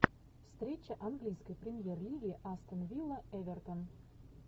встреча английской премьер лиги астон вилла эвертон